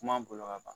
Kuma bolo ka ban